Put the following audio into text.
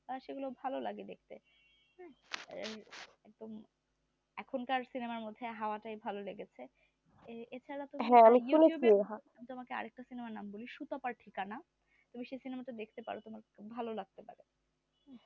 একদম এখন কার cinema র মধ্যে হাওয়া টাই ভালো লেগেছে এ ছাড়া তোমাকে আর একটা cinema র কথা বলি সুতপার ঠিকানা তুমি সেই cinema টা দেখতে পারো তোমার ভালো লাগতে পারে